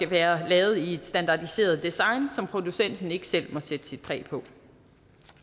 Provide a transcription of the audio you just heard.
være lavet i et standardiseret design som producenten ikke selv må sætte sit præg på